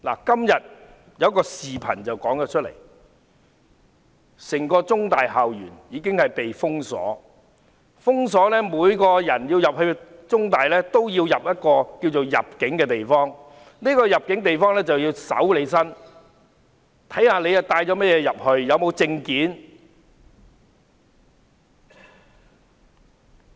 今天有一段視頻，看到整個香港中文大學的校園已被封鎖，每個人進入中大也須通過一個稱為"入境"的地方，要接受搜身，看看你帶甚麼物品進去、有沒有證件。